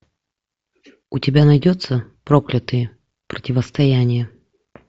у тебя найдется проклятые противостояние